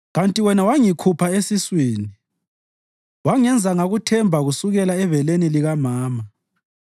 Kanti wena wangikhupha esiswini; wangenza ngakuthemba kusukela ebeleni likamama.